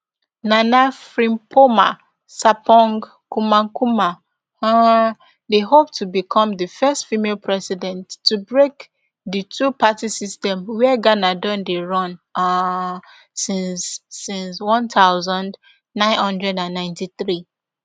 nana frimpomaa sarpong kumankumah um dey hope to become di first female president to break di twoparty system wia ghana don dey run um since since one thousand, nine hundred and ninety-three